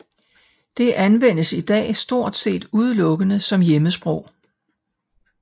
Det anvendes i dag stort set udelukkende som hjemmesprog